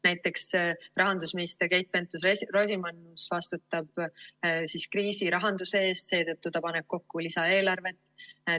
Näiteks, rahandusminister Keit Pentus-Rosimannus vastutab kriisi rahanduse eest, seetõttu ta paneb kokku lisaeelarvet.